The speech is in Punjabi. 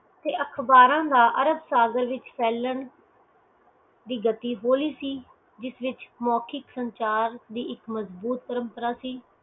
ਤੇ ਅਖਬਾਰਾਂ ਦਾ ਅਰਬ ਸਾਗਰ ਵਿਚ ਫੈਲਣ ਦੀ ਗਤੀ ਹੋਲੀ ਸੀ ਜਿਸ ਵਿਚ ਮੌਖਿਕ ਸੰਚਾਰ ਦੀ ਇਕ ਮਜਬੂਤ ਪਰਮਪਰਾ ਸੀ